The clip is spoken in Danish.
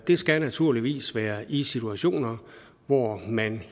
det skal naturligvis være i situationer hvor man